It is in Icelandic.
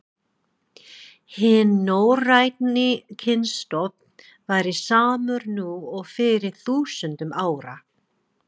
Hinn norræni kynstofn væri samur nú og fyrir þúsundum ára.